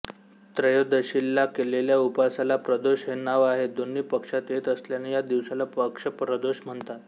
त्रयोदशीला केलेल्या उपासाला प्रदोष हे नाव आहे दोन्ही पक्षांत येत असल्याने या दिवसाला पक्षप्रदोष म्हणतात